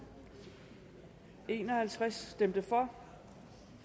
en og halvtreds stemte